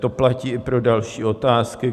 To platí i pro další otázky.